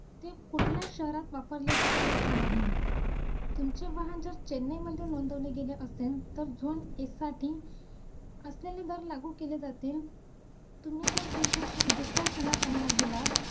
junk food बद्दल माहिती सांगशील का ,